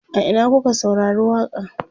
a Ina kuka saurari waƙa n?